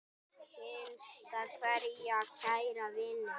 HINSTA KVEÐJA Kæri vinur.